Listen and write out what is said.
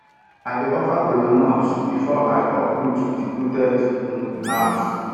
i dey offer kola nut before i uproot deeprooted um herbs